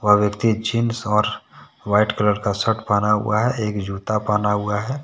वह व्यक्ति जींस और वाइट कलर का शर्ट पहना हुआ है एक जूता पहना हुआ है।